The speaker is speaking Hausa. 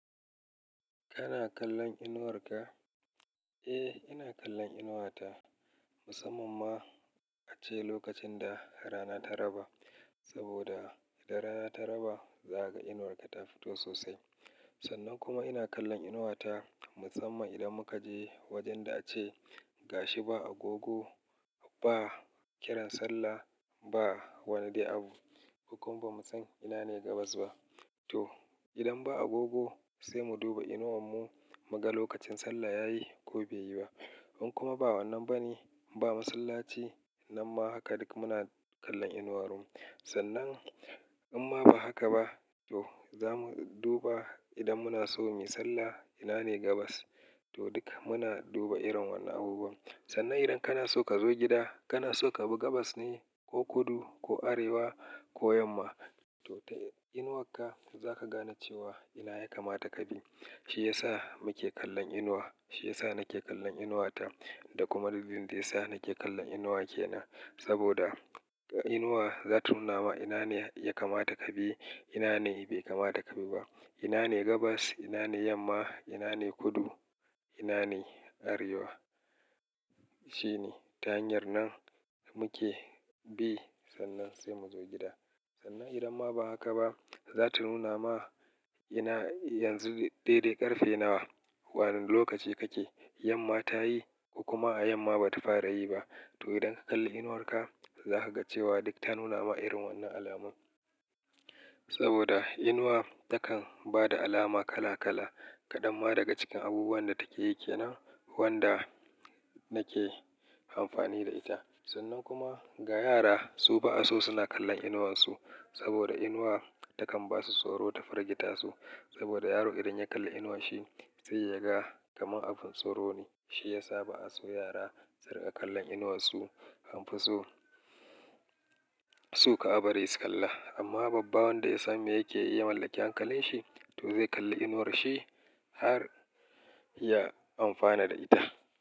Kana kallon inuwar ka? Eh, ina kallon inuwata musamman ma a ce lokacin da rana ta raba. Saboda idan rana ta raba, za ka ga inuwarka ta fito sosai. Sannan kuma ina kallon inuwata musamman idan muka je wajenda a ce ga shi ba agogo, ba kiran sallah, ba wani dai abu. Mu kuma ba mu san ina ne gabas ba. To idan ba agogo sai mu duba inuwan mu mu ga lokacin sallah ya yi ko bai yi ba. In kuma ba wannan bane, ba masallaci, nan ma haka duk muna kallon inuwarmu. Sannan imma ba haka ba to za mu duba idan muna so mu yi sallah ina ne gabas. To duk muna duba irin wannan abubuwan. Sannan idan kana so ka zo gida, kana so ka bi gabas ne, ko kudu, ko arewa, ko yamma. To ta inuwarka za ka gane cewa ina ya kamata ka bi. Shi ya sa muke kallon inuwa. Shi yasa nake kallon inuwata da kuma dalilin da ya sa nake kallon inuwa kenan. Saboda inuwa za ta nuna ma ina ne ya kamata ka bi, ina ne bai kamata ka bi ba. Ina ne gabas, ina ne yamma, ina ne kudu, ina ne arewa. Shine ta hanyar nan muke bi sannan sai mu zo gida. Sannan idan ma ba haka ba, za ta nuna ma ina yanzu daidai ƙarfe nawa, wane lokaci kake, yamma ta yi ko kuma yamma bata fara yi ba. To idan ka kalli inuwarka za ka ga cewa duk ta nuna ma irin wannan alamun. Saboda inuwa takan bada alama kala kala kadanma daga cikin abubuwan da take yi kenan wanda nake amfani da ita. Sannan kuma ga yara su ba'a so suna kallon inuwansu saboda inuwa takan basu tsoro ta firgita su. Saboda yaro idan ya kalli inuwanshi zai yaga kamar abin tsoro ne. Shi ya sa ba'a so yara su riƙa kallon inuwansu. An fi so-so kar a bari su kalla. Amma babba wanda ya san me yake ya mallaki hankalin shi to zai iya ya kalli inuwanshi har ya amfana da ita.